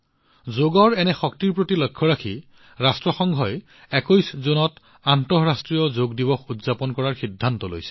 যোগৰ এনে শক্তিৰ প্ৰতি লক্ষ্য ৰাখি ৰাষ্ট্ৰসংঘই ২১ জুনত আন্তঃৰাষ্ট্ৰীয় যোগ দিৱস উদযাপন কৰাৰ সিদ্ধান্ত লৈছে